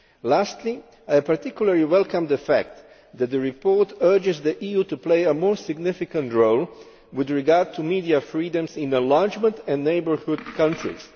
Lastly, I particularly welcome the fact that the report urges the EU to play a more significant role with regard to media freedoms in enlargement and neighbourhood countries.